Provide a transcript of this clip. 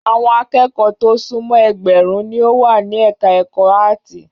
Àwọn akẹ́kọ̀ọ́ tó súnmọ́ ẹgbẹ̀rún ni ó wà ní ẹ̀ka-ẹ̀kọ́ áátì.